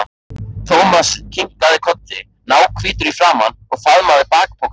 Thomas kinkaði kolli, náhvítur í framan, og faðmaði bakpokann sinn.